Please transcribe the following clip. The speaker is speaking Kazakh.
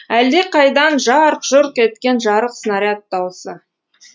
әлдеқайдан жарқ жұрқ еткен жарық снаряд даусы